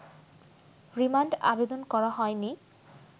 remand আবেদন করা হয়নি’